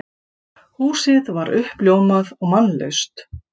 Húsið var uppljómað og mannlaust.